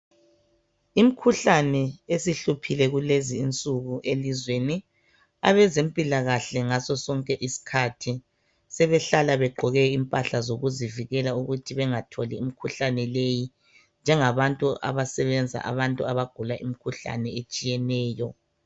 Imkhuhlane esihluphile kulezi insuku elizweni , abezempilakahle ngasosonke isikhathi sebehlala begqoke impahla zokuzivikela ukuthi bengatholi imikhuhlane leyi .Njengabantu abasebenza abantu abagula imikhuhlane etshiyeneyo.